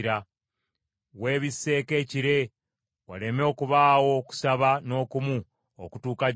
Weebisseeko ekire, waleme okubaawo okusaba n’okumu okutuuka gy’oli.